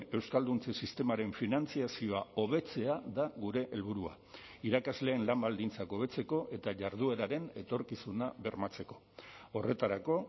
euskalduntze sistemaren finantzazioa hobetzea da gure helburua irakasleen lan baldintzak hobetzeko eta jardueraren etorkizuna bermatzeko horretarako